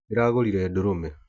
Ndĩragũrire ndũrũme.